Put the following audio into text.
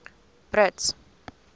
brits